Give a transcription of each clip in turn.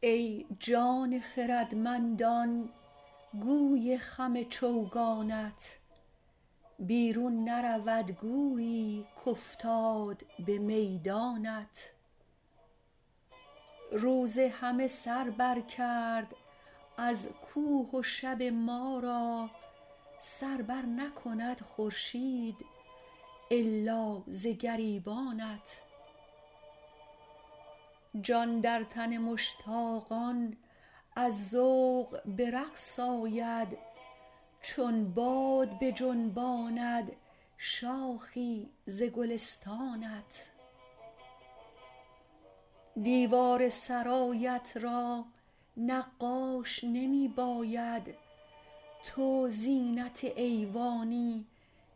ای جان خردمندان گوی خم چوگانت بیرون نرود گویی کافتاد به میدانت روز همه سر بر کرد از کوه و شب ما را سر بر نکند خورشید الا ز گریبانت جان در تن مشتاقان از ذوق به رقص آید چون باد بجنباند شاخی ز گلستانت دیوار سرایت را نقاش نمی باید تو زینت ایوانی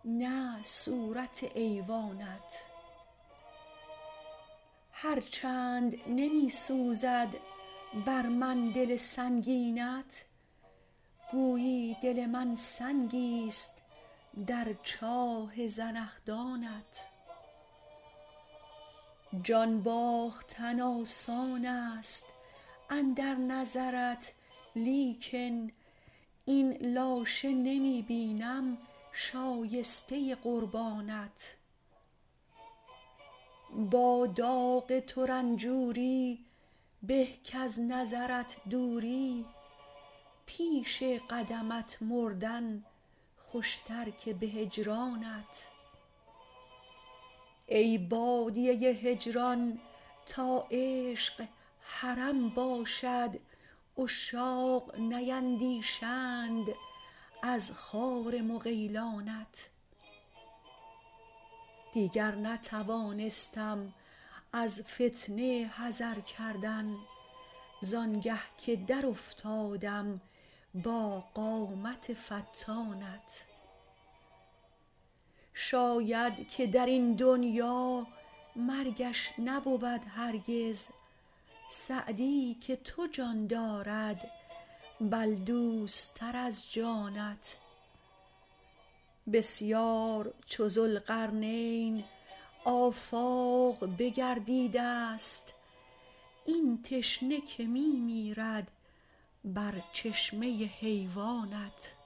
نه صورت ایوانت هر چند نمی سوزد بر من دل سنگینت گویی دل من سنگیست در چاه زنخدانت جان باختن آسان است اندر نظرت لیکن این لاشه نمی بینم شایسته قربانت با داغ تو رنجوری به کز نظرت دوری پیش قدمت مردن خوشتر که به هجرانت ای بادیه هجران تا عشق حرم باشد عشاق نیندیشند از خار مغیلانت دیگر نتوانستم از فتنه حذر کردن زآنگه که در افتادم با قامت فتانت شاید که در این دنیا مرگش نبود هرگز سعدی که تو جان دارد بل دوست تر از جانت بسیار چو ذوالقرنین آفاق بگردیده ست این تشنه که می میرد بر چشمه حیوانت